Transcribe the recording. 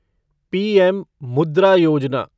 PM Mudra Yojana